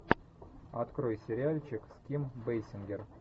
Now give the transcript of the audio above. открой сериальчик с ким бейсингер